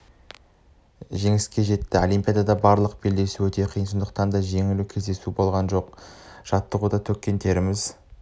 жеңіске жетті олимпиадада барлық белдесу өте қиын сондықтан жеңіл кездесу болған жоқ жаттығудағы төккен теріміз